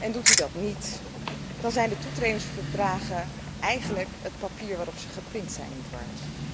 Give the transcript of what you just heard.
Doet u dat niet, dan zijn de toetredingsverdragen eigenlijk het papier waarop ze geprint zijn niet waard.